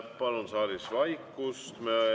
Palun saalis vaikust!